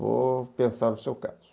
Vou pensar no seu caso.